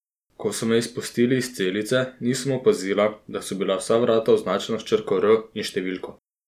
Ko so me izpustili iz celice, nisem opazila, da so bila vsa vrata označena s črko R in številko.